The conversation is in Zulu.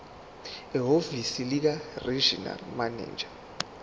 ehhovisi likaregional manager